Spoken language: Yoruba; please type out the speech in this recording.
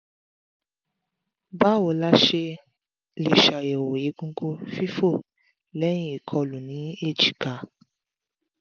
báwo la ṣe lè ṣàyẹ̀wò egungun fifo leyin ikolu ní èjìká?